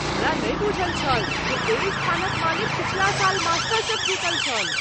हमरा नहि बूझल छल जे एहि स्थानक मालिक पिछ्ला साल मास्टरशेफ जीतल छल।